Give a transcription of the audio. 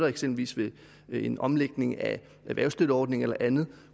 eksempelvis ved en omlægning af erhvervsstøtteordningen eller andet